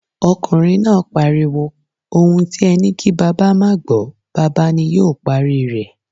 Okunrin naa pariwo, 'Ohun ti e ni ki baba maa a gbo, baba ni yoo pari re'